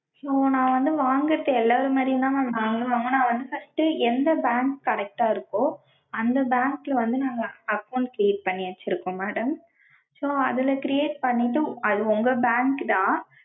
so நா வந்து வாங்கறது எல்லாரு மாதிரியும் தான் mam நாங்களும் வாங்குவோம். நாங்க வந்து first எந்த bank correct டா இருக்கோ அந்த bank ல வந்து நாங்க account create பண்ணி வச்சிருக்கோம் madam so. அதுல create பண்ணிட்டு, அது உங்க bank தான்.